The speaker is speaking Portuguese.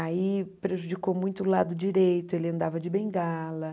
Aí prejudicou muito o lado direito, ele andava de bengala.